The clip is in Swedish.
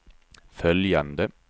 följande